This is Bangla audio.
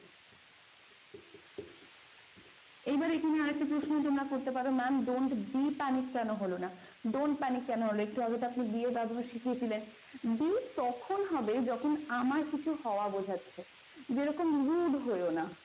এইবার এখানে আর একটা প্রশ্ন তোমরা করতে পারো ma'am don't be panic কেন হল না? don't panic কেন হল? একটু আগে তো আপনি be এর ব্যবহার শিখেছিলেন be তখন হবে যখন আমার কিছু হওয়া বোঝাচ্ছে যেরকম rude হইও না।